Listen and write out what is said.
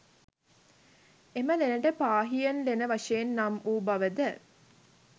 එම ලෙනට පාහියන් ලෙන වශයෙන් නම් වූ බවද